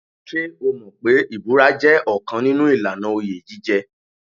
Ṣé o mọ̀ pé ìbúra jẹ́ ọ̀kan nínú ìlànà oyè jíjẹ.